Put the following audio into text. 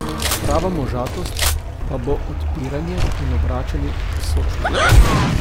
Prava možatost pa bo odpiranje in obračanje k sočloveku.